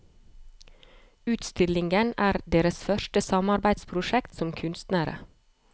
Utstillingen er deres første samarbeidsprosjekt som kunstnere.